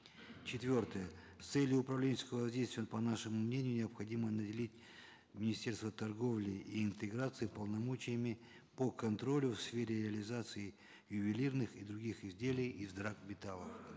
четвертое с целью управленческого воздействия по нашему мнению необходимо наделить министерство торговли и интеграции полномочиями по контролю в сфере реализации ювелирных и других изделий из драгметаллов